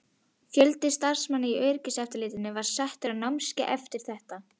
Fjöldi starfsmanna í öryggiseftirlitinu var settur á námskeið eftir þetta?